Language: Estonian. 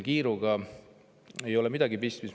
Kiiruga ei ole siin midagi pistmist.